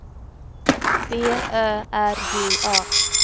B Ö R J A